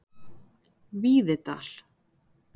Víðidal